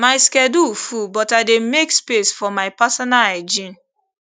my schedule full but i dey make space for my personal hygiene